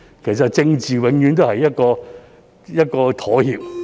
其實政治不外乎是一種妥協。